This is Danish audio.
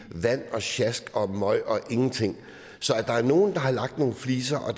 vand og sjask og møg og ingenting så at der er nogle der har lagt nogle fliser og